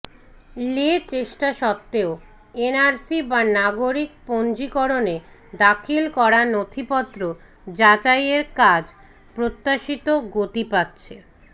লে চেষ্টা সত্ত্বেও এনআরসি বা নাগরিক পঞ্জিকরণে দাখিল করা নথিপত্র যাচাইয়ের কাজ প্রত্যাশিত গতি পাচ্ছে